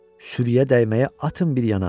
Sürüyə dəyməyə atın bir yana.